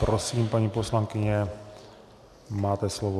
Prosím, paní poslankyně, máte slovo.